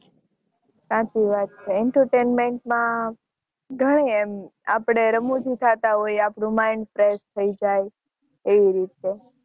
સાચી વાત છેઃ entertainment માં આપણે રમુજી થતા હોય છે આપણું mind fresh થઇ જાય એ રીતે